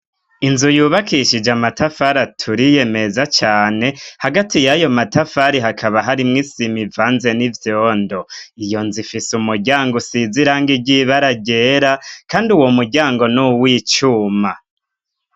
Inzu yubakishije amatafari aturi meza cane hagati yayo matafari hakaba hari mu isima ivanze n'ivyondo iyo nzi ifise umuryango usiziranga ryibara ryera kandi uwo muryango n uw'icuma.